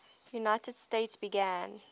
united states began